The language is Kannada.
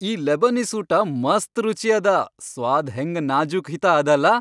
ಈ ಲೆಬನೀಸ್ ಊಟ ಮಸ್ತ್ ರುಚಿ ಅದ, ಸ್ವಾದ್ ಹೆಂಗ ನಾಜೂಕ್ ಹಿತಾ ಅದಲಾ.